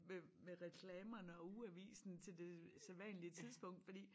Med med reklamerne og ugeavisen til det sædvanlige tidspunkt fordi